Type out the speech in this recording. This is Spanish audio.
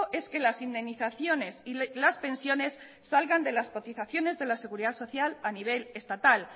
es que las indemnizaciones y las pensiones salgan de las cotizaciones de la seguridad social a nivel estatal